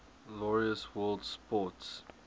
laureus world sports